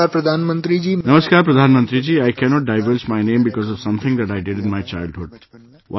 "Namaskar, Pradhan Mantriji, I cannot divulge my name because of something that I did in my childhood